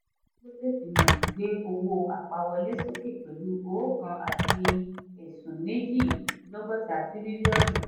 dangote simenti gbé owó apá wọlé sókè pẹ̀lú oókan àti ẹ̀sún méjì lógotá tirilionu.